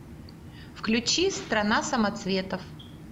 включи страна самоцветов